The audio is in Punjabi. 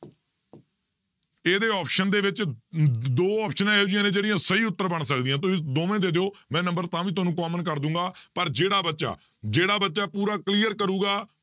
ਇਹਦੇ option ਦੇ ਵਿੱਚ ਅਮ ਦੋ ਆਪਸਨਾਂ ਇਹੋ ਜਿਹੀਆਂ ਨੇ ਜਿਹੜੀਆਂ ਸਹੀ ਉੱਤਰ ਬਣ ਸਕਦੀਆਂ ਤੁਸੀਂ ਦੋਵੇਂ ਦੇ ਦਿਓ ਮੈਂ number ਤਾਂ ਵੀ ਤੁਹਾਨੂੰ common ਕਰ ਦਊਂਗਾ ਪਰ ਜਿਹੜਾ ਬੱਚਾ ਜਿਹੜਾ ਬੱਚਾ ਪੂਰਾ clear ਕਰੇਗਾ